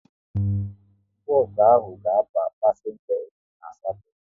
Bos ahụ ga aba pasenga iri na asatọ